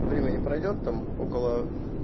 времени пройдёт там около